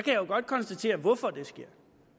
jo godt konstatere hvorfor det sker